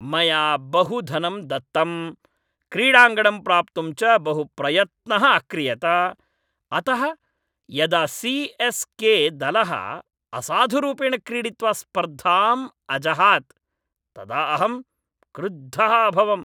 मया बहु धनं दत्तं, क्रीडाङ्गणं प्राप्तुं च बहुप्रयत्नः अक्रियत, अतः यदा सी.एस्.के. दलः असाधुरूपेण क्रीडित्वा स्पर्धाम् अजहात् तदा अहं क्रुद्धः अभवम्।